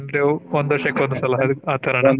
ಅಂದ್ರೆ ಒಂದ್ ವರ್ಷಕ್ಕೆ ಒಂದ್ ಸಲ ಆತರನಾ?